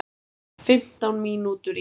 Fimmtán mínútur í